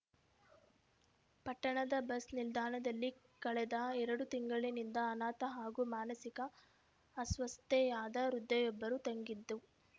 ಪಟ್ಟಣದ ಬಸ್‌ ನಿಲ್ದಾಣದಲ್ಲಿ ಕಳೆದ ಎರಡು ತಿಂಗಳಿನಿಂದ ಅನಾಥ ಹಾಗೂ ಮಾನಸಿಕ ಅಸ್ವಸ್ಥೆಯಾದ ವೃದ್ಧೆಯೊಬ್ಬರು ತಂಗಿದ್ದು